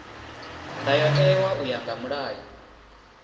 ndayotewa u ya nga mulayo